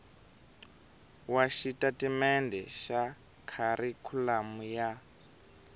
wa xitatimendhe xa kharikhulamu ya